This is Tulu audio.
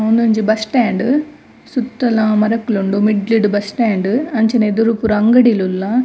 ಉಂದೊಂಜಿ ಬಸ್ಸ್ ಸ್ಟ್ಯಾಂಡ್ ಸುತ್ತಲ ಮರಕ್ಲುಂಡು ಮಿಡ್ಡ್ಲುಡು ಬಸ್ಸ್ ಸ್ಟ್ಯಾಂಡ್ ಅಂಚ್ಹನೆ ಎದುರು ಪೂರ ಅಂಗಡಿ ಲು ಉಲ್ಲ.